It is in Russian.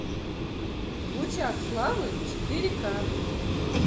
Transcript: в лучах славы четыре ка